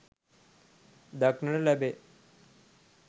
දක්නට ලැබේ.